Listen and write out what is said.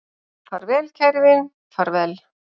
Far vel kæri vin, far vel